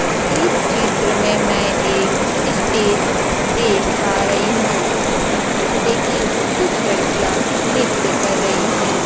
इस चित्र में मैं एक स्टेज देख पा रहीं हूँ जिसपे की कुछ लड़किया नृत्य कर रहीं हैं।